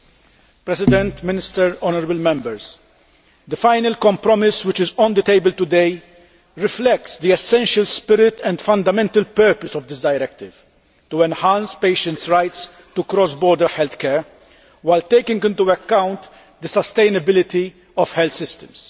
Mr President, Minister, honourable Members, the final compromise which is on the table today reflects the essential spirit and fundamental purpose of this directive to enhance patients' rights to cross border healthcare, while taking into account the sustainability of health systems.